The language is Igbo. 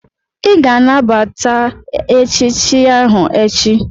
Ị ga-anabata echichi ahụ echi!